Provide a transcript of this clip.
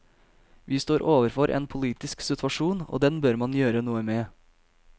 Vi står overfor en politisk situasjon, og den bør man gjøre noe med.